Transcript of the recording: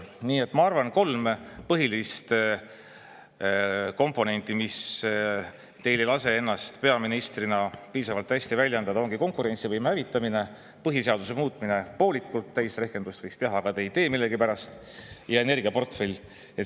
Nii et ma arvan, kolm põhilist komponenti, mis teil ei lase ennast peaministrina piisavalt hästi väljendada, ongi konkurentsivõime hävitamine, põhiseaduse muutmine poolikult – täisrehkenduse võiks teha, aga ta ei tee millegipärast – ja energiaportfell.